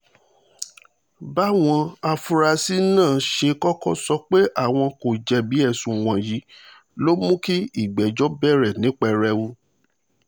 báwọn afurasí náà ṣe kọ́kọ́ sọ pé àwọn kò jẹ̀bi ẹ̀sùn wọ̀nyí ló mú kí ìgbẹ́jọ́ bẹ̀rẹ̀ ní pẹrẹwu